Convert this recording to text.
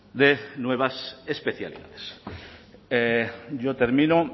de nuevas especialidades yo termino